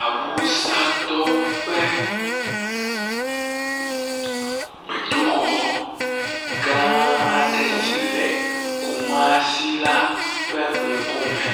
awusatɔwo ƒe gbedoxɔ gã aɖe si le Kumasi la ƒe ŋkume.